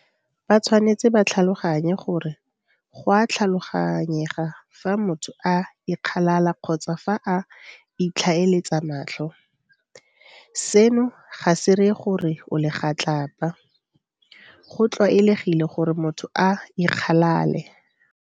Batshwanetse ba tlhaloganye gore go a tlhaloganyega fa motho a ikgalala kgotsa fa a itlhaeletsa matlho. Seno ga se ree gore o legatlapa. Go tlwaelegile gore motho a ikgalale.